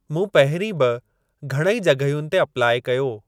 मूं पहिरीं बि घणेई जग॒हियुनि ते अप्लाई कयो।